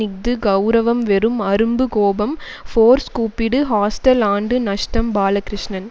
இஃது கெளரவம் வெறும் அரும்பு கோபம் ஃபோர்ஸ் கூப்பிடு ஹாஸ்டல் ஆண்டு நஷ்டம் பாலகிருஷ்ணன்